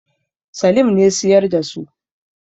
Salim ne siyar da su.